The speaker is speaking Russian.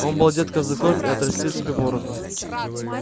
он был одет казаком и отрастил себе бороду